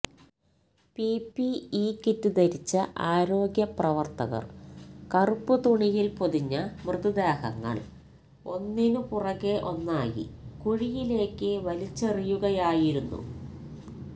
P P E kit ധരിച്ച ആരോഗ്യ പ്രവര്ത്തകര് കറുപ്പ് തുണിയില് പൊതിഞ്ഞ മൃതദേഹങ്ങള് ഒന്നിനുപുറകെ ഒന്നായി കുഴിയിലേക്ക് വലിച്ചെറിയുകയായിരുന്നു